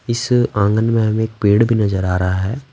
इस आँगन में हमें एक पेड़ भी नजर आ रहा है।